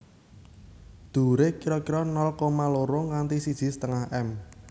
Dhuwuré kira kira nol koma loro nganti siji setengah m